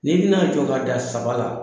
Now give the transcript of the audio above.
Nii bɛ na jɔ ka da saba la.